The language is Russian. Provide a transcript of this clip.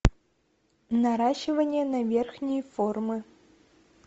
наращивание на верхние формы